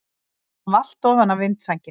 Hann valt ofan af vindsænginni!